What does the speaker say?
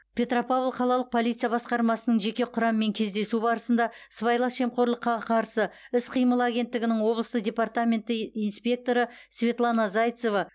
петропавл қалалық полиция басқармасының жеке құрамымен кездесу барысында сыбайлас жемқорлыққа қарсы іс қимыл агенттігінің облыстық департаменті и инспекторы светлана зайцева